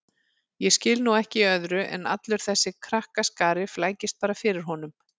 Ég skil nú ekki í öðru en allur þessi krakkaskari flækist bara fyrir honum